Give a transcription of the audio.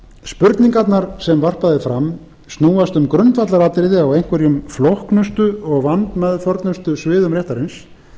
spurningarnar sem varpað er fram snúast um grundvallaratriði á einhverjum flóknustu og vandmeðförnustu sviðum réttarins